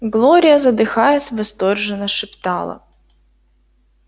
глория задыхаясь восторженно шептала